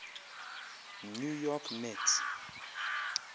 new york mets